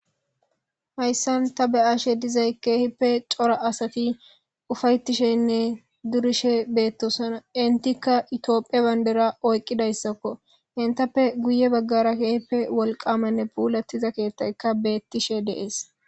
Hayssan ta beyashe dizay keehippe cora asati ufayettishenne durishe beettosana intikka itiophie bandera oyqqidayssakko intappe guye baggara keehippe wolqamanne puulattiza keethtaykka beettishe deees